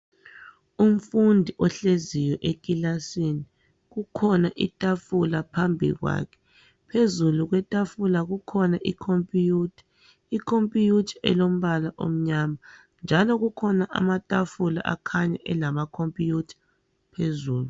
Umfundi ohleziyo ekilasini kukhona itafula phambi kwakhe. Phezulu kwetafula kukhona ikhompiyutha. Ikhompiyutha elombala omnyama njalo kukhona amatafula akhanya elamakhompiyutha phezulu.